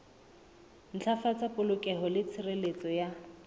ntlafatsa polokeho le tshireletso ya